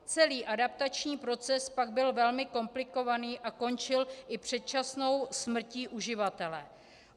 Celý adaptační proces pak byl velmi komplikovaný a končil i předčasnou smrtí uživatele.